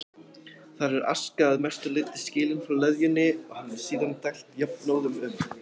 Þar er aska að mestu leyti skilin frá leðjunni og henni síðan dælt jafnóðum um